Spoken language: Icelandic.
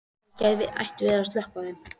Kannski ættum við að sökkva þeim.